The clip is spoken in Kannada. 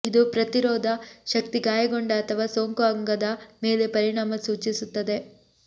ಇದು ಪ್ರತಿರೋಧ ಶಕ್ತಿ ಗಾಯಗೊಂಡ ಅಥವಾ ಸೋಂಕು ಅಂಗದ ಮೇಲೆ ಪರಿಣಾಮ ಸೂಚಿಸುತ್ತದೆ